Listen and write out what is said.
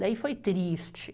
Daí foi triste.